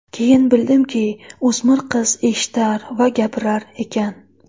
Keyin bildimki, o‘smir qiz eshitar va gapirar ekan.